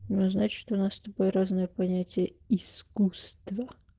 ну значит у нас с тобой разные понятия искусства